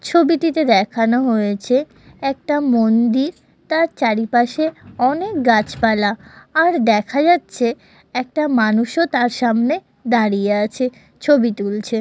ছবিটিতে দেখানো হয়েছে একটা মন্দির তার চারিপাশে অনেক গাছপালা আর দেখা যাচ্ছে একটা মানুষও তার সামনে দাঁড়িয়ে আছে ছবি তুলছে।